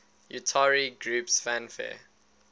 utari groups fanfare